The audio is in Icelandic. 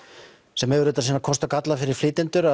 sem hefur auðvitað sína kosti og galla fyrir flytjendur